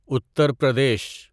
Uttar Pradesh